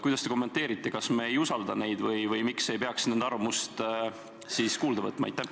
Kuidas te kommenteerite: kas me ei usalda neid või miks ei peaks nende arvamust kuulda võtma?